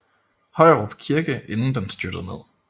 Højerup kirke inden den styrtede ned